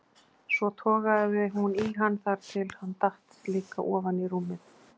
Svo togaði hún í hann þar til hann datt líka ofan í rúmið.